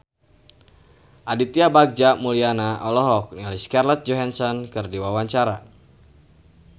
Aditya Bagja Mulyana olohok ningali Scarlett Johansson keur diwawancara